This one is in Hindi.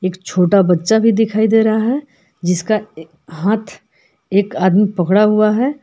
एक छोटा बच्चा भी दिखाई दे रहा है जिसका हाथ एक आदमी पकड़ा हुआ है।